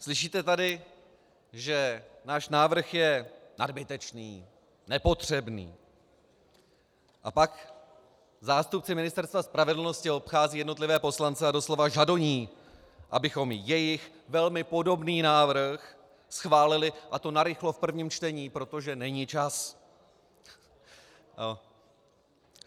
Slyšíte tady, že náš návrh je nadbytečný, nepotřebný, a pak zástupci Ministerstva spravedlnosti obcházejí jednotlivé poslance a doslova žadoní, abychom jejich velmi podobný návrh schválili, a to narychlo v prvním čtení, protože není čas.